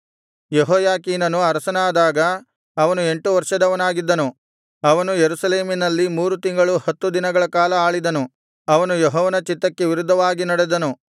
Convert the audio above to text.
ಯೆಹೋಯಾಕೀನನು ಅರಸನಾದಾಗ ಅವನು ಎಂಟು ವರ್ಷದವನಾಗಿದ್ದನು ಅವನು ಯೆರೂಸಲೇಮಿನಲ್ಲಿ ಮೂರು ತಿಂಗಳು ಹತ್ತು ದಿನಗಳ ಕಾಲ ಆಳಿದನು ಅವನು ಯೆಹೋವನ ಚಿತ್ತಕ್ಕೆ ವಿರುದ್ಧವಾಗಿ ನಡೆದನು